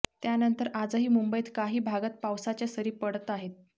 त्यानंतर आजही मुंबईत काही भागात पावसाच्या सरी पडत आहेत